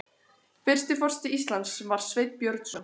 Fyrsti forseti Íslands var Sveinn Björnsson.